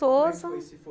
Como foi se for